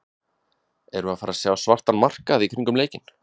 Erum við að fara sjá svartan markað í kringum leikinn?